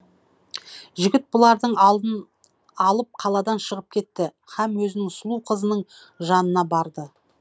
жігіт бұларды алып қаладан шығып кетті һәм өзінің сұлу қызының жанына барды